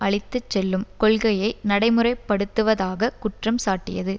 அழித்துச்செல்லும் கொள்கையை நடைமுறை படுத்துவதாக குற்றம் சாட்டியது